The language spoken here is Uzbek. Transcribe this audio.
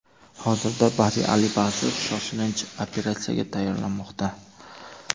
Hozirda Bari Alibasov shoshilinch operatsiyaga tayyorlanmoqda .